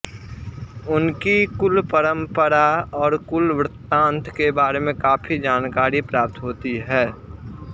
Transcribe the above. उनकी कुल परम्परा और कुल वृत्तान्त के बारे में काफी जानकारी प्राप्त होती है